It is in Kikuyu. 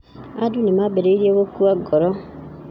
Andũ nĩ maambĩrĩirie gũkua ngoro.